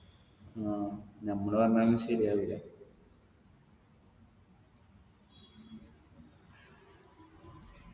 ആ നമ്മള് പറഞ്ഞാലൊന്നും ശരിയാവൂല